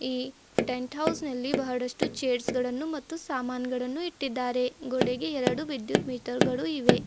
ಈ tent house ನಲ್ಲಿ ಬಹಳಷ್ಟು ಚೇರ್ಸ್ ಗಳನ್ನು ಮತ್ತು ಸಾಮಾನುಗಳನ್ನು ಇಟ್ಟಿದ್ದಾರೆ ಗೋಡೆಗೆ ಎರಡು ವಿದ್ಯುತ್ ಮೀಟರ್ ಗಳು ಇವೆ.